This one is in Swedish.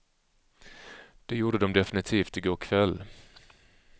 Det gjorde de definitivt i går kväll.